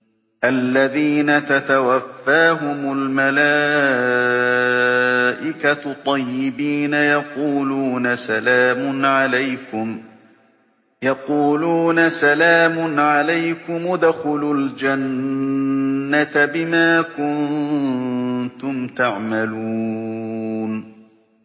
الَّذِينَ تَتَوَفَّاهُمُ الْمَلَائِكَةُ طَيِّبِينَ ۙ يَقُولُونَ سَلَامٌ عَلَيْكُمُ ادْخُلُوا الْجَنَّةَ بِمَا كُنتُمْ تَعْمَلُونَ